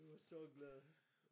Vi var så glade